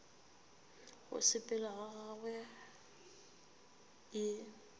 go sepela ga gagwe e